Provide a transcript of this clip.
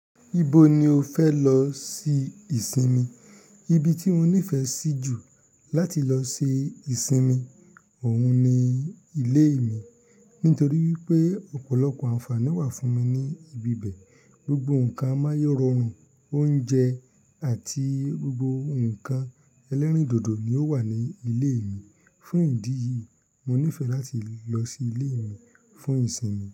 Ibo ni o fẹ lọ ṣe ìsinmi? Ibi ti mo nifẹ si ju láti lọ ṣe ìsinmi oún ni ilé mi. Nítorí wípé ọ̀pọ̀lọpọ̀ ànfàní wá fún mi ní ibi bẹ. Gbogbo nnkan amáyérọrùn oúnjẹ àti gbogbo ǹkan ẹlẹ́rìndòdò ni ó wà ní ilé mi. Fún ìdí yìí, mo nífẹ láti lọ sí ilé mi fún ìsinmi.